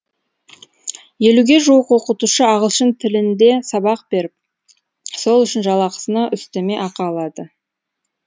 елуге жуық оқытушы ағылшын тілінде сабақ беріп сол үшін жалақысына үстеме ақы алады